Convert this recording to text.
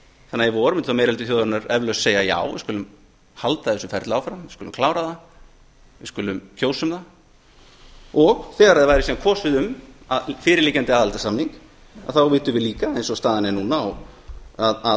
þannig að í vor mundi þá meiri hluti þjóðarinnar eflaust segja við skulum halda þessu ferli áfram við skulum klára það við skulum kjósa um það og þegar það væri síðan kosið um fyrirliggjandi aðildarsamning þá vitum við líka eins og staðan er núna að